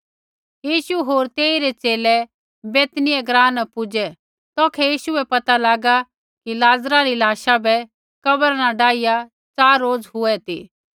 यीशु होर तेइरै च़ेले बैतनिय्याह ग्राँ न पूज़ै तौखै यीशु बै पता लागा कि लाज़रा री लाशा बै कब्रा न डाईया च़ार रोज़ हुऐ ती